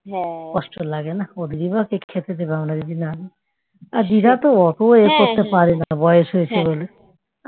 কষ্ট লাগে না ওদেরই বা কে খেতে দেবে আর দিদা তো অত ইয়ে করতে পারেনা বয়স হয়েছে বলে